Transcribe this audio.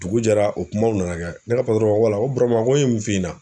Dugu jɛra, o kumaw nana kɛ. Ne ka ko wala ko Burama ko n ye mun f'i ɲɛna?